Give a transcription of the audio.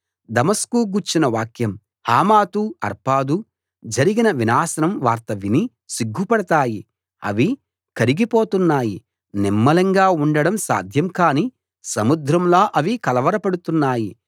దమస్కు గూర్చిన వాక్యం హమాతు అర్పాదూ జరిగిన వినాశనం వార్త విని సిగ్గుపడతాయి అవి కరిగిపోతున్నాయి నిమ్మళంగా ఉండటం సాధ్యం కాని సముద్రంలా అవి కలవరపడుతున్నాయి